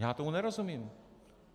Já tomu nerozumím.